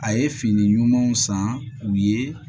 A ye fini ɲumanw san u ye